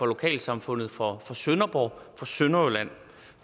lokalsamfundet for sønderborg for sønderjylland